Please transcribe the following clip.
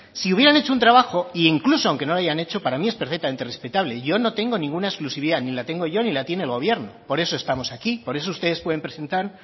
si hubieran hecho un trabajo e incluso aunque no lo hayan hecho para mí es perfectamente respetable yo no tengo ninguna exclusividad ni la tengo yo ni la tiene el gobierno por eso estamos aquí por eso ustedes pueden presentar